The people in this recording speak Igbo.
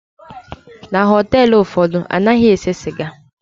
Na họteelụ ụfọdụ, anaghị ese sịga.